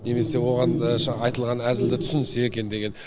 немесе оған айтылған әзілді түсінсе екен деген